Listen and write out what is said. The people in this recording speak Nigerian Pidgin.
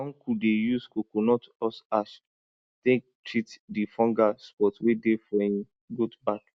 my uncle dey use coconut husk ash take treat di fungal spot wey dey for hin goat back